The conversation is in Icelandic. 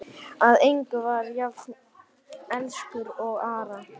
Að engum var hann jafn elskur og Ara.